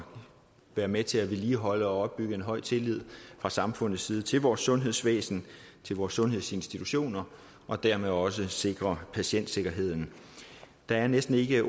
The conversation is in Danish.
være med til at vedligeholde og opbygge en høj tillid fra samfundets side til vores sundhedsvæsen til vores sundhedsinstitutioner og dermed også sikre patientsikkerheden der er næsten ikke